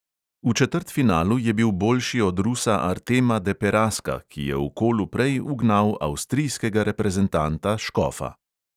V četrtfinalu je bil boljši od rusa artema deperaska, ki je v kolu prej ugnal avstrijskega reprezentanta škofa.